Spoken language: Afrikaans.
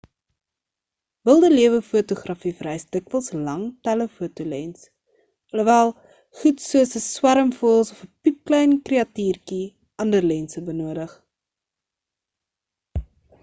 wilde lewe-fotografie vereis dikwels 'n lang telefoto lens alhoewel goed soos 'n swerm voëls of 'n piepklein kreatuurtjie ander lense benodig